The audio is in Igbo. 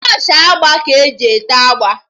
Brọshị agba ka eji ete agba